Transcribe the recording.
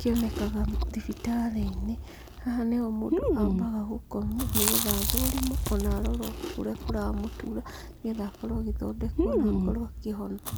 kĩonekaga thibitarĩ-inĩ, haha nĩho mũndũ ambaga gũkomio nĩgetha athũrimwo ona arorwo kũrĩa kũramũtura, nĩgetha akorwo agĩthondekwo na akorwo akĩhona.